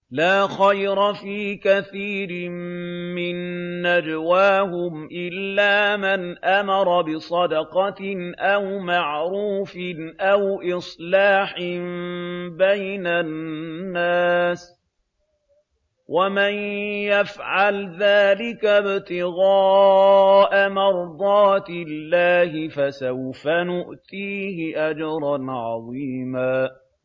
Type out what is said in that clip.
۞ لَّا خَيْرَ فِي كَثِيرٍ مِّن نَّجْوَاهُمْ إِلَّا مَنْ أَمَرَ بِصَدَقَةٍ أَوْ مَعْرُوفٍ أَوْ إِصْلَاحٍ بَيْنَ النَّاسِ ۚ وَمَن يَفْعَلْ ذَٰلِكَ ابْتِغَاءَ مَرْضَاتِ اللَّهِ فَسَوْفَ نُؤْتِيهِ أَجْرًا عَظِيمًا